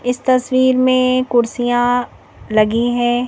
इस तस्वीर में कुर्सियां लगी है।